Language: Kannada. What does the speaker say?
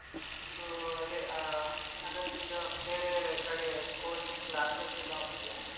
So ಅದೆ, ಆ ಅದಕ್ಕೀಗ ಬೇರೆ ಕಡೆ coaching classes ಎಲ್ಲ ಉಂಟು.